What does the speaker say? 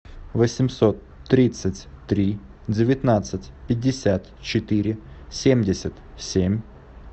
восемьсот тридцать три девятнадцать пятьдесят четыре семьдесят семь